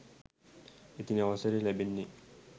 ඉතින් අවසරය ලැබෙන්නේ